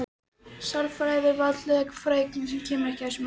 Sálarfræði er veraldleg fræðigrein og kemur ekki þessu máli við.